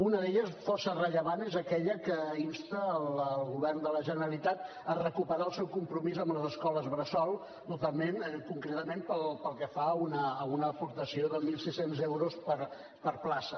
una d’elles força rellevant és aquella que insta el govern de la generalitat a recuperar el seu compromís amb les escoles bressol concretament pel que fa a una aportació de mil sis cents euros per plaça